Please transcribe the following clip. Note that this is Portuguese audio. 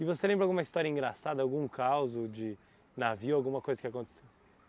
E você lembra alguma história engraçada, algum causo de navio, alguma coisa que